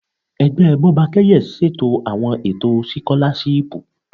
Ẹgbẹ Bọ́bakẹ́yẹ ṣètò àwọn ètò sikolashipu.